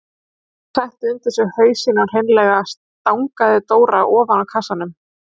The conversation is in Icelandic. Hún setti undir sig hausinn og hreinlega stangaði Dóra ofan af kassanum.